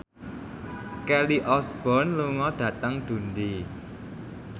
Kelly Osbourne lunga dhateng Dundee